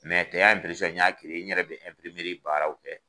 n y'a n yɛrɛ de bi baaraw kɛ.